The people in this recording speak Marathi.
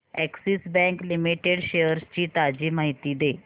अॅक्सिस बँक लिमिटेड शेअर्स ची ताजी माहिती दे